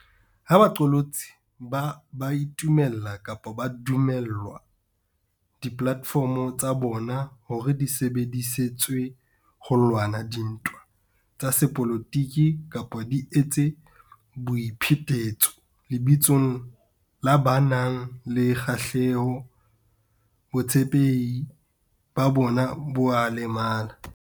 Ha baqolotsi ba itumella kapa ba dumella dipolate fomo tsa bona hore di sebedi setswe ho lwana dintwa tsa sepolotiki kapa di etse boi phetetso lebitsong la ba nang le kgahleho, botshepehi ba bona bo a lemala.